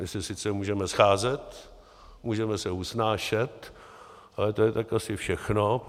My se sice můžeme scházet, můžeme se usnášet, ale to je tak asi všechno.